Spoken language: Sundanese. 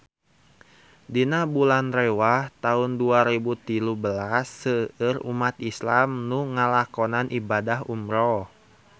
Dina bulan Rewah taun dua rebu tilu belas seueur umat islam nu ngalakonan ibadah umrah